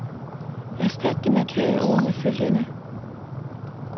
Erstat de markerede ord med følgende.